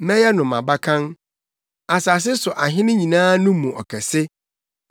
Mɛyɛ no mʼabakan, asase so ahene nyinaa no mu ɔkɛse.